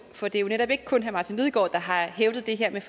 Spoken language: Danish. for det er jo netop ikke kun herre martin lidegaard der har hævdet det her